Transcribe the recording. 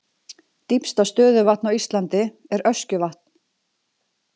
Dýpsta stöðuvatn á Íslandi er Öskjuvatn.